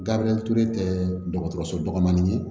Gabriyɛri ture tɛ dɔgɔtɔrɔso dɔgɔnin ye